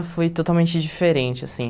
foi totalmente diferente, assim.